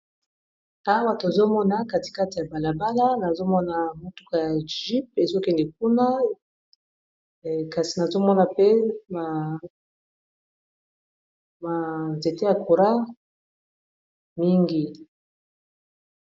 awa tozomona katikate ya balabala nazomona motuka ya gype ezokende kuna kasi nazomona pe manzete ya coura mingi